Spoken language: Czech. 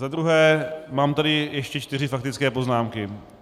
Za druhé, mám tady ještě čtyři faktické poznámky.